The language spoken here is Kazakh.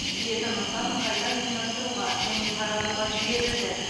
жеті нысан қайта ұйымдастыруға және таратуға жіберілді